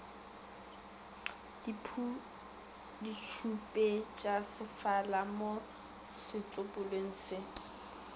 ke ditšhupetšasefala mo setsopolweng se